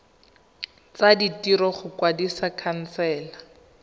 tsa ditiro go kwadisa khansele